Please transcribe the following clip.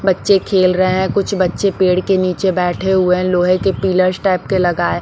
बच्चे खेल रहे हैं कुछ बच्चे पेड़ के नीचे बैठे हुए है लोहे के पिलर्स टाइप के लगाए--